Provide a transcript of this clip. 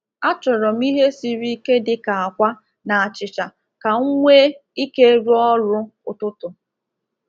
A chọrọ m ihe siri ike dị ka akwa na achịcha ka m nwee ike rụọ ọrụ ụtụtụ.